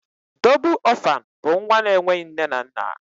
Dóbul orphan bú nwa na enweghị nne na nna.